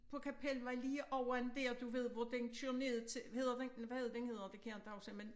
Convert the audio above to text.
På Kapelvej lige over en dér du ved hvor den kører ned til hedder den hvad er det den hedder det kan jeg ikke huske men